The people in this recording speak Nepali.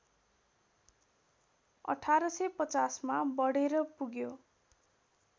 १८५० मा बढेर पुग्यो